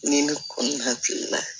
Ni ne ko ni hakilina ye